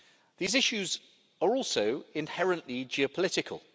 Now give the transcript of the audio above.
These issues are also inherently geopolitical.